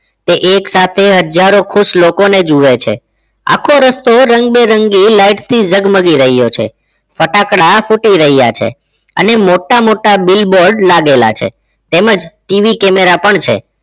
તે એક સાથે હજારો ખુશ લોકોને જુએ છે આખો રસ્તો રંગબેરંગી light થી જગમગી રહ્યો છે ફટાકડા ફૂટી રહ્યા છે અને મોટા મોટા billboard લાગેલા છે તેમ જ TV camera પણ છે